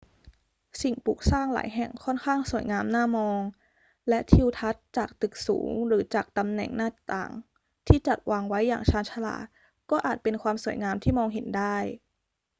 สิ่งปลูกสร้างหลายแห่งค่อนข้างสวยงามน่ามอง และทิวทัศน์จากตึกสูงหรือจากตำแหน่งหน้าต่างที่จัดวางไว้อย่างชาญฉลาดก็อาจเป็นความสวยงามที่มองเห็นได้